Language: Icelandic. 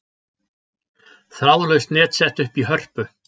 Þráðlaust net sett upp í Hörpu